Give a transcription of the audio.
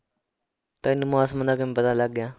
ਤੈਨੂੰ ਮੌਸਮ ਦਾ ਕਿਵੇਂ ਪਤਾ ਲੱਗ ਗਿਆ?